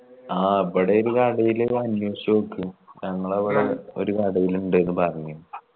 ആ ഇബടയില്ലേ ഒരു കടയിൽ അന്വേഷിച്ച് നോക്ക് ഞങ്ങളാ ഇബടെ ഒരു കടേൽ ഇണ്ട്ന്ന് പറഞ്ഞ്